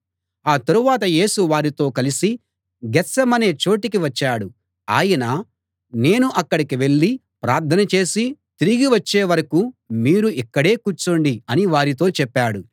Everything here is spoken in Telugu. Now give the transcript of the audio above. ఆ తరువాత యేసు వారితో కలిసి గేత్సేమనే అనే చోటికి వచ్చాడు ఆయన నేను అక్కడికి వెళ్ళి ప్రార్థన చేసి తిరిగి వచ్చే వరకూ మీరు ఇక్కడే కూర్చోండి అని వారితో చెప్పాడు